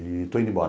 E estou indo embora.